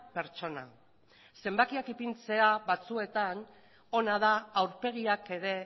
pertsona zenbakiak ipintzea batzuetan ona da aurpegiak ere